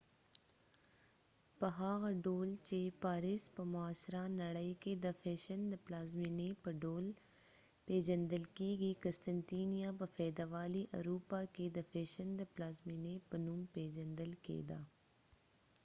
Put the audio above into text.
په هغه ډول چې پاریس په معاصره نړئ کې د فیشن د پلازمینې په ډول پیژندل کیږي قسطنطنیه په فیودالي اروپا کې د فیشن د پلازمینې په نوم پیژندل کیده